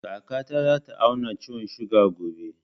Kaka ta za ta auna ciwon suga gobe